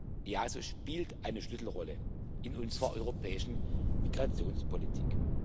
Das EASO spielt eine Schlüsselrolle in unserer europäischen Migrationspolitik.